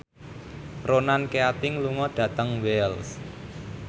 Ronan Keating lunga dhateng Wells